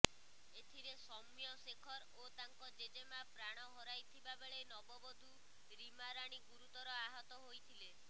ଏଥିରେ ସୌମ୍ୟ ଶେଖର ଓ ତାଙ୍କ ଜେଜେମା ପ୍ରାଣ ହରାଇଥିବା ବେଳେ ନବବଧୂ ରୀମାରାଣୀ ଗୁରୁତର ଆହତ ହୋଇଥିଲେ